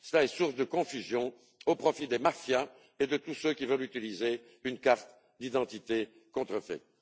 C'est source de confusion au profit des mafias et de tous ceux qui veulent utiliser une carte d'identité contrefaite.